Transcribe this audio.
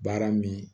Baara min